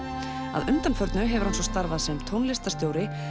að undanförnu hefur hann svo starfað sem tónlistarstjóri